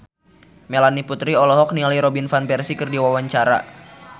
Melanie Putri olohok ningali Robin Van Persie keur diwawancara